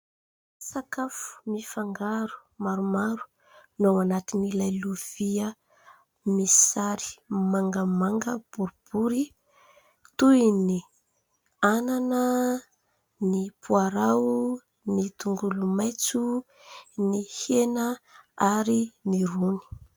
Sakafo mifangaro maromaro no ao anatin'ilay lovia misy sary mangamanga boribory toy ny anana, ny poarao, ny tongolomaitso, ny hena ary ny rony.